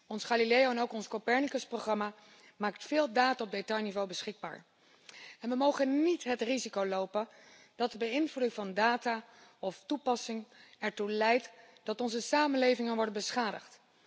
Ons Galileo en ook ons Copernicus programma maken veel data op detailniveau beschikbaar en we mogen niet het risico lopen dat de beïnvloeding of toepassing van data ertoe leidt dat onze samenlevingen worden beschadigd.